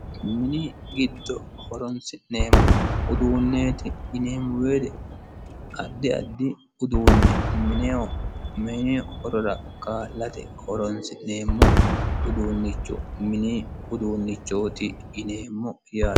mini giddo horonsi'neemmo uduunneeti yineemmo woyiite addi addi uduunne mineho mini horora kaalate horonsi'neemmo uduunnicho mini uduunnichooti yineemmo yaate